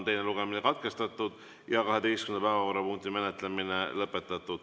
Teine lugemine on katkestatud ja 12. päevakorrapunkti menetlemine lõpetatud.